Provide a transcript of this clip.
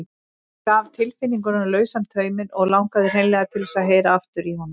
Hún gaf tilfinningunum lausan tauminn og langaði hreinlega til þess að heyra aftur í honum.